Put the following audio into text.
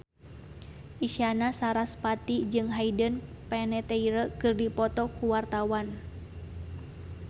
Isyana Sarasvati jeung Hayden Panettiere keur dipoto ku wartawan